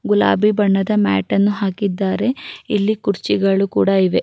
ಗುಲಾಬಿ ಬಣ್ಣದ ಮ್ಯಾಟ್ ಅನ್ನು ಹಾಕಿದ್ದಾರೆ ಇಲ್ಲಿ ಕುರ್ಚಿಗಳು ಕೂಡ ಇವೆ.